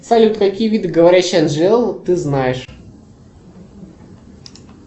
салют какие виды говорящие анжелы ты знаешь